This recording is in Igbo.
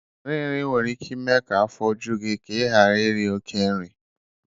Nrinri nwere ike ime ka afọ ju gị ka ị ghara iri oke nri